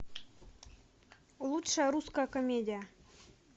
лучшая русская комедия